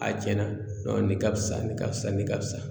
A cɛnna nɔn nin ka fisa nin ka fisa ni ka fisa